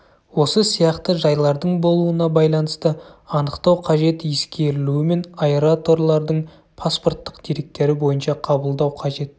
осы сияқты жайлардың болуына байланысты анықтау қажет ескерілуімен аэраторлардың паспорттық деректері бойынша қабылдау қажет